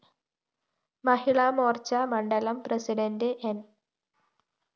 മഹിളാമോര്‍ച്ച മണ്ഡലം പ്രസിഡണ്ട് ന്‌